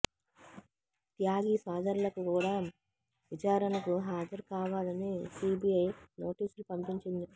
త్యాగి సోదరులకు కూడా విచారణకు హాజరు కావాలని సిబిఐ నోటీసులు పంపించింది